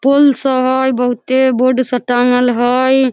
पूल स हय बहुते बॉर्ड स टांगल हय।